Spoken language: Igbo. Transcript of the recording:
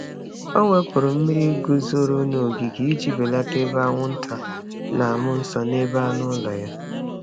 Ọ wepụrụ mmiri guzoro n’ogige iji belata ebe anwụnta na-amụ nso ebe anụ ụlọ ya.